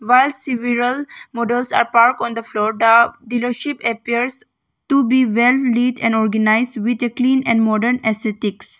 While several models are parked on the floor the dealership appears to be well neat and organised with a clean and modern aesthetics.